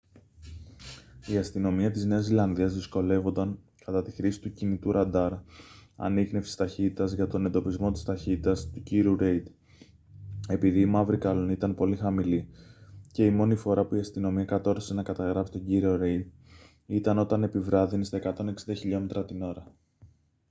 η αστυνομία της νέας ζηλανδίας δυσκολεύονταν κατά τη χρήση του κινητού ραντάρ ανίχνευσης ταχύτητας για τον εντοπισμό της ταχύτητας του κ. ρέιντ επειδή η μαύρη καλλονή ήταν πολύ χαμηλή και η μόνη φορά που η αστυνομία κατόρθωσε να καταγράψει τον κ. ρέιντ ήταν όταν επιβράδυνε στα 160km/h